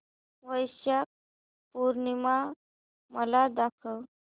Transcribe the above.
वैशाख पूर्णिमा मला दाखव